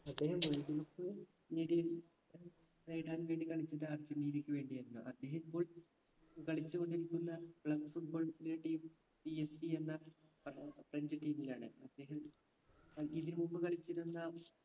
അദ്ദേഹം world cup നേടിയ ഏർ നേടാൻ വേണ്ടി കളിച്ചത് അർജന്റീനയ്ക്ക് വേണ്ടി ആയിരുന്നു അദ്ദേഹം ഇപ്പോൾ കളിച്ചു കൊണ്ടിരിക്കുന്ന club footballs ൻറെ teamPSG എന്ന ഫ്ര french team ലാണ് അദ്ദേഹം ഏർ ഇതിന് മുമ്പ് കളിച്ചിരുന്ന